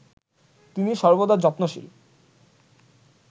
তিনি সর্বদা যত্নশীল